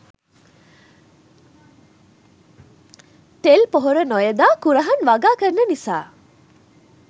තෙල් පොහොර නොයොදා කුරහන් වගා කරන නිසා